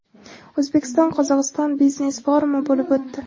O‘zbekiston – Qozog‘iston biznes-forumi bo‘lib o‘tdi.